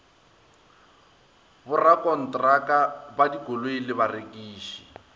borakontraka ba dikoloi le barekiši